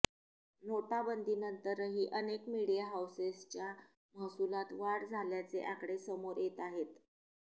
नोटाबंदीनंतरही अनेक मिडिया हाऊसेसच्या महसुलात वाढ झाल्याचे आकडे समोर येताहेत